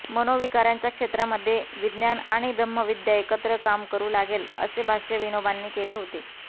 मनोविकारांच्या क्षेत्रामध्ये विज्ञान आणि ब्रह्मविद्या एकत्र काम करू लागेल असे भाष्य विनोबांनी केले होते